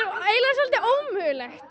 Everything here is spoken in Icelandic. eiginlega svolítið ómögulegt